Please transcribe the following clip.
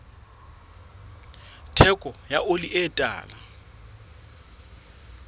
theko ya oli e tala